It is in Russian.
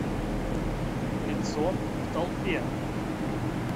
лицо в толпе